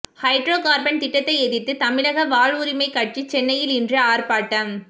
hydro carbon திட்டத்தை எதிர்த்து தமிழக வாழ்வுரிமை கட்சி சென்னையில் இன்று ஆர்ப்பாட்டம்